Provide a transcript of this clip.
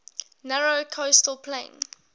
narrow coastal plain